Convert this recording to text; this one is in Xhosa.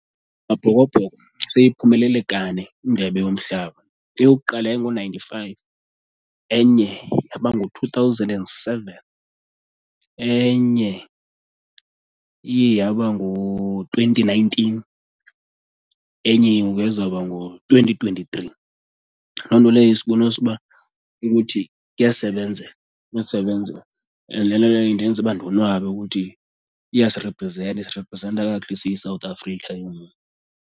Amabhokobhoko seyiphumelele kane indebe yomhlaba. Eyokuqala yayingo-ninety-five, enye yaba ngo-two thousand and seven, enye iye yaba ngu-twenty nineteen, enye ke ngoku yazoba ngo-twenty twenty-three. Loo nto leyo isibonisa uba ukuthi kuyasebenzeka, kuyasebenzeka and le nto leyo indenza uba ndonwabe ukuthi iyasiriprizenta, isiriprizenta kakuhle siyiSouth Africa ke ngoku.